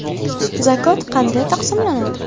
Zakot qanday taqsimlanadi?.